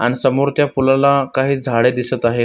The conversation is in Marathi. अन समोर त्या पुलाला काही झाडे दिसत आहेत.